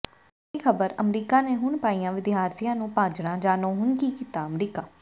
ਵੱਡੀ ਖਬਰ ਅਮਰੀਕਾ ਨੇ ਹੁਣ ਪਾਈਆਂ ਵਿਦਿਆਰਥੀਆਂ ਨੂੰ ਭਾਜੜਾਂ ਜਾਣੋ ਹੁਣ ਕੀ ਕੀਤਾ ਅਮਰੀਕਾ